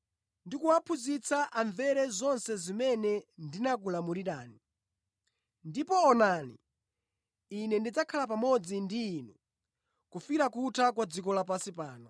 ndi kuwaphunzitsa amvere zonse zimene ndinakulamulirani. Ndipo onani, Ine ndidzakhala pamodzi ndi inu kufikira kutha kwa dziko lapansi pano.”